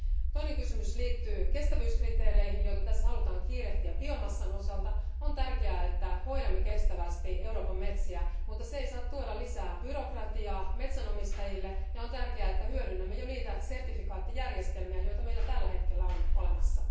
Toinen kysymys liittyy kestävyyskriteereihin, joita tässä halutaan kiirehtiä biomassan osalta. On tärkeää, että hoidamme kestävästi Euroopan metsiä, mutta se ei saa tuoda lisää byrokratiaa metsänomistajille. On tärkeää, että hyödynnämme jo niitä sertifikaattijärjestelmiä, joita meillä tällä hetkellä on olemassa.